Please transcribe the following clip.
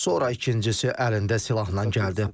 Sonra ikincisi əlində silahla gəldi.